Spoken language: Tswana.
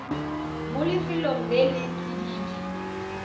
mo lefelong le le tsididi